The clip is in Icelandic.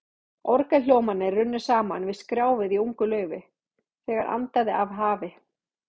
Orgelhljómarnir runnu saman við skrjáfið í ungu laufi, þegar andaði af hafi.